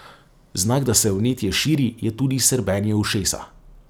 Znak, da se vnetje širi, je tudi srbenje ušesa.